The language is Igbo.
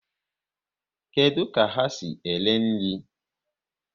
Kedụ ka ha si ere nri?